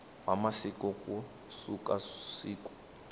wa masiku ku suka siku